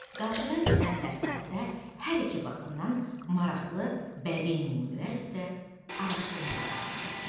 Qarşıdan gələn dərslərdə hər iki baxımdan maraqlı bədii nümunələr üzrə araşdırmalar aparacaqsan.